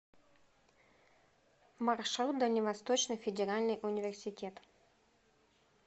маршрут дальневосточный федеральный университет